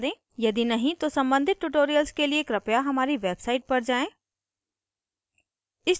यदि नहीं तो सम्बंधित tutorials के लिए हमारी website पर जाएँ